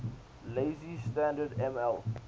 lazy standard ml